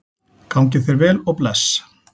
Gangi þér vel og bless.